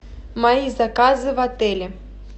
мои заказы в отеле